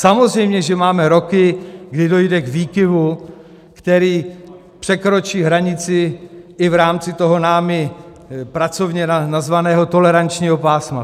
Samozřejmě že máme roky, kdy dojde k výkyvu, který překročí hranici i v rámci toho námi pracovně nazvaného tolerančního pásma.